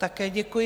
Také děkuji.